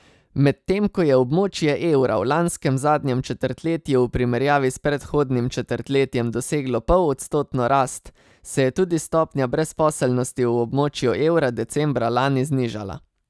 Medtem ko je območje evra v lanskem zadnjem četrtletju v primerjavi s predhodnim četrtletjem doseglo pol odstotno rast, se je tudi stopnja brezposelnosti v območju evra decembra lani znižala.